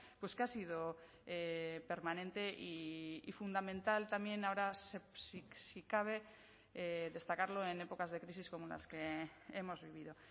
pues que ha sido permanente y fundamental también ahora si cabe destacarlo en épocas de crisis como las que hemos vivido